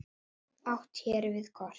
Átt er hér við kort.